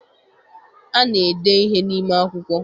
Ana-ede ihe n'ime akwụkwọ.